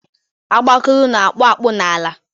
Ọgbakulu na akpu akpụ n'ala